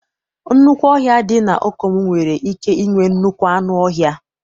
Nnukwu ọhia dị na Okomu nwere ike inwee nnukwu anụ ọhịa